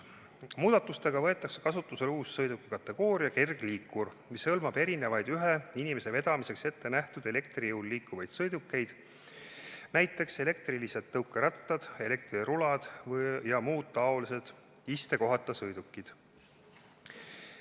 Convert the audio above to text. Muudatustega võetakse kasutusele uus sõidukikategooria – kergliikur, mis hõlmab erinevaid ühe inimese vedamiseks ettenähtud elektri jõul liikuvaid sõidukeid, näiteks elektrilised tõukerattad, elektrirulad ja muud taolised istekohata sõidukid.